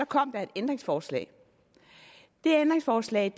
kom der et ændringsforslag det ændringsforslag